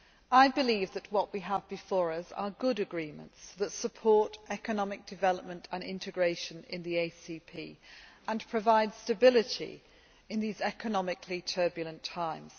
I believe that what we have before us are good agreements that support economic development and integration in the ACP and provide stability in these economically turbulent times.